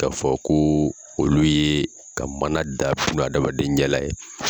Ka fɔ ko olu ye ka mana da buna hadamaden ɲɛ la ye.